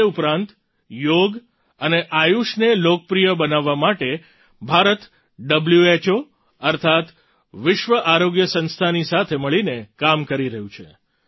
તે ઉપરાંત યોગ અને આયૂષને લોકપ્રિય બનાવવા માટે ભારત હૂ અર્થાત્ વિશ્વ આરોગ્ય સંસ્થાની સાથે મળીને કામ કરી રહ્યું છે